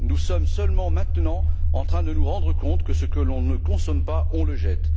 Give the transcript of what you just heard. Nous sommes, seulement maintenant, en train de nous rendre compte que ce que l'on ne consomme pas, on le jette.